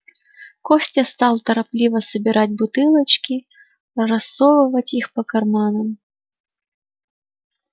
костя стал торопливо собирать бутылочки рассовывать их по карманам